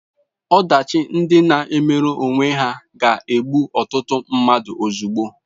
Ọdachi ndị na-emere onwe ha ga-egbu ọtụtụ mmadụ ozugbo.